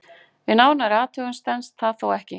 Við nánari athugun stenst það þó ekki.